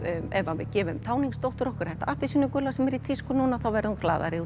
ef við gefum okkar þetta appelsínugula sem er í tísku núna þá verður hún glaðari